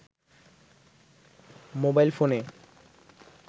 mobile ফোনে